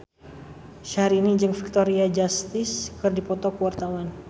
Syahrini jeung Victoria Justice keur dipoto ku wartawan